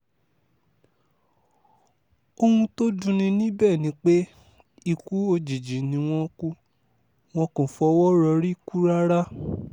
ohun tó dùn ní níbẹ̀ ni pé ikú òjijì ni wọ́n kú wọn kò fọwọ́ rọ́rí kù rárá